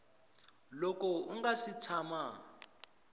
loko u nga si tshama